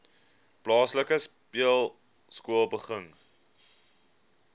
plaaslike speelskool begin